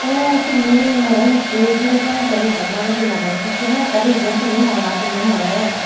tey tumi more hettey zero point a reject Mmari dilade hichu dw ekkan reason tumi hona tumi morey.